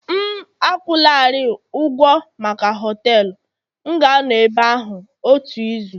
M akwụlarị ụgwọ maka họtelu, m ga-anọ ebe ahụ otu izu